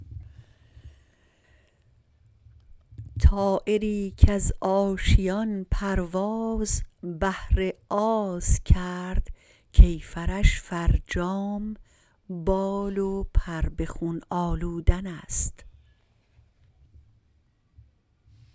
طایری کز آشیان پرواز بهر آز کرد کیفرش فرجام بال و پر به خون آلودن است